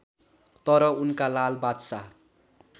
तर उनका लाल बादशाह